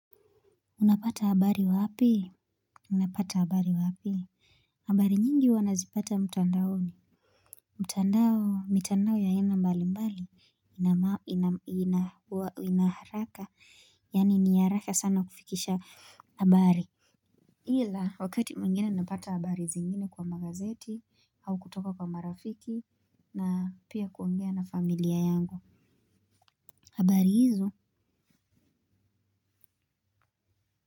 Unapata habari wapii? Unapata abari wapii? Habari nyingi huwa nazipata mtandaoni. Mtandao mitandao ya aina mbali mbali ina ina ina ina haraka yaani ni haraka sana kufikisha habari. Ila wakati mwingina napata habari zingine kwa magazeti au kutoka kwa marafiki na pia kuongea na familia yangu habari hizo.